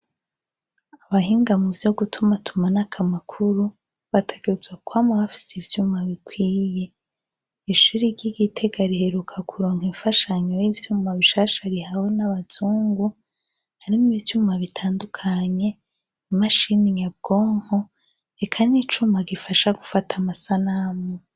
abahinga muvyo gutuma tuma nakamakuru batagerezwa kwama bafise ivyuma bikwiye ishuri ry'igitega riheruka kuronka imfashanyo y'ivyuma bishasha rihawe n'abazungu ari mwivyuma bitandukanye imashini yabwonko eka n'icuma gifasha gufata amasanamu